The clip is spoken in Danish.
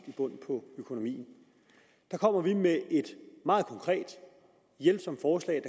bund på økonomien der kommer vi med et meget konkret hjælpsomt forslag